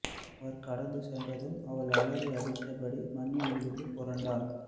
அவர் கடந்து சென்றதும் அவள் அலறி அழுதபடி மண்ணில் விழுந்து புரண்டாள்